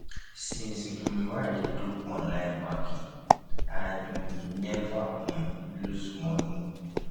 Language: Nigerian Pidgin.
since um wey i dey do online banking i um neva um loose moni